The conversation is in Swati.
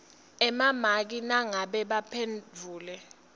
emamaki nangabe baphendvule